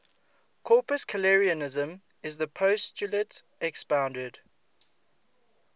corpuscularianism is the postulate expounded